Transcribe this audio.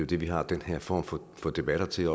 det vi har den her form for debatter til